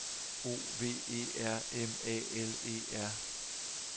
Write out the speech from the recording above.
O V E R M A L E R